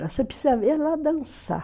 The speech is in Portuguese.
Você precisa ver ela dançar.